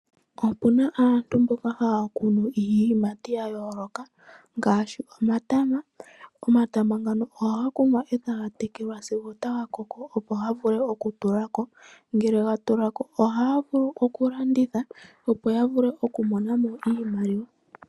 Opu na aantu mboka haya kunu iiyimati ya yooloka ngaashi omatama. Omatama ngano ohaga kunwa e taga tekelwa sigo taga koko opo ga vule okutulako ngele ga tulako ohaya vulu okulandithwa opo ya vule okumonamo iimaliwa.